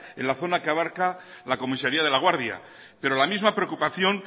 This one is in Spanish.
en la zona que abarca la comisaría de laguardia pero la misma preocupación